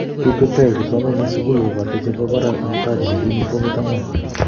kikweektai kipsomaninik sukul kobote che bo barak okot Haji ne kimii fomit angwan